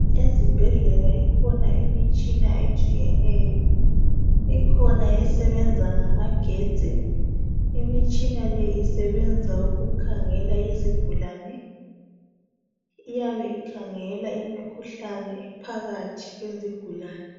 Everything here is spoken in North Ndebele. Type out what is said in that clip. Ezibhedlela ikhona imitshina etshiyetshiyeneyo ikhona esebenza ngamagetsi imitshina le isebenza ukukhangela izigulane iyabe ikhangela imikhuhlane ephakathi kwezigulane